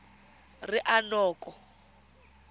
ranoko